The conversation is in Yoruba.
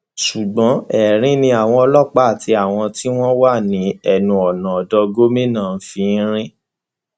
ṣùgbọn erin ni àwọn ọlọpàá àti àwọn tí wọn wà ní ẹnu ọnà odò gómìnà ń fi í rín